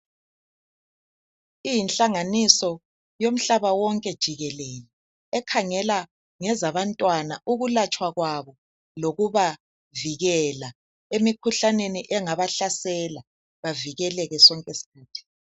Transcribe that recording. Iyihlanganiso yomhlaba wonke jikelele. Ekhangela ngezabantwana ukulatshwa kwabo lokubavukela emkhuhlaneni engabahlasela .Bavikeleke sonke isikhathi.